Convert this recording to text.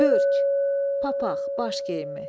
Börk, papaq, baş geyimi.